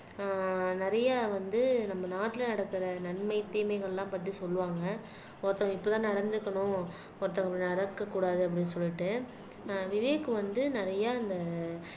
ஆஹ் நிறைய வந்து நம்ம நாட்டுல நடக்கிற நன்மை தீமைகள்லாம் பத்தி சொல்லுவாங்க ஒருத்தவங்க இப்பதான் நடந்துக்கணும் ஒருத்தவங்க நடக்கக்கூடாது அப்படின்னு சொல்லிட்டு அஹ் விவேக் வந்து நிறைய அந்த